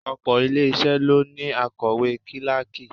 Òpò ilé isẹ ló ní akowe kíláàkì.